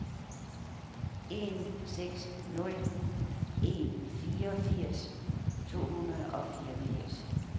en seks nul en fireogfirs to hundrede og fireogfirs